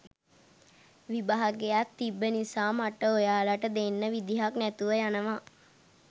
විභාගයක් තිබ්බ නිසා මට ඔයාලට දෙන්න විදිහක් නැතුව යනවා.